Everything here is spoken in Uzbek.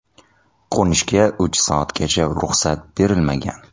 Qo‘nishga uch soatgacha ruxsat berilmagan.